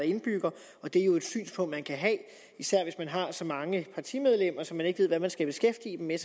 indbyggere og det er jo et synspunkt man kan have især hvis man har så mange partimedlemmer så man ikke ved hvad man skal beskæftige dem med